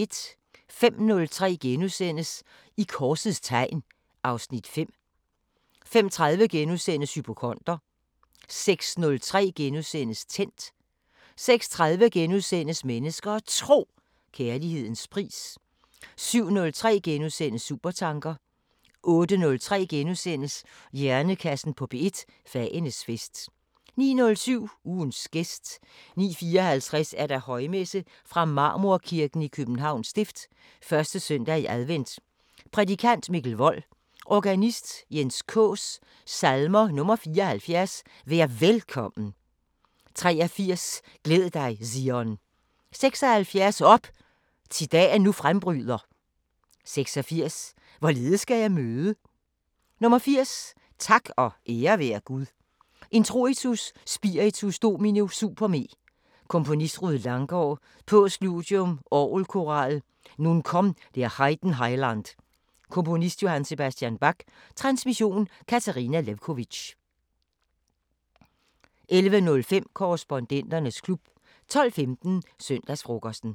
05:03: I korsets tegn (Afs. 5)* 05:30: Hypokonder * 06:03: Tændt * 06:30: Mennesker og Tro: Kærlighedens pris * 07:03: Supertanker * 08:03: Hjernekassen på P1: Fagenes fest * 09:07: Ugens gæst 09:54: Højmesse - Marmorkirken, Københavns Stift. 1. søndag i advent Prædikant: Mikkel Wold. Organist: Jens Kaas. Salmer: 74: "Vær Velkommen" 83: "Glæd dig, Zion" 76: "Op! thi dagen nu frembryder" 86: "Hvorledes skal jeg møde" 80: "Tak og ære være Gud" Introitus: "Spiritus Domini super me" Komponist: Rued Langgaard. Postludium: "Orgelkoral Nun komm' der Heiden Heiland" Komponist: J.S. Bach. Transmission: Katarina Lewkovitch. 11:05: Korrespondenternes klub 12:15: Søndagsfrokosten